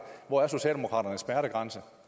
hvor er socialdemokraternes smertegrænse